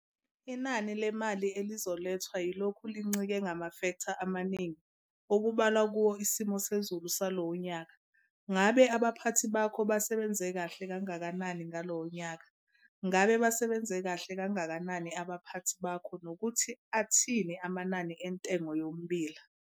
Inani le mali elizolethwa yilokhu lincike kumafektha amaningi okubalwa kuwo isimo sezulu salowo nyaka, ngabe abaphathi bakho basebenza kahle kangakanani ngalowo nyaka, ngabe basebenza kahle kangakanani abaphathi bakho nokuthi athini amanani entengo yommbila.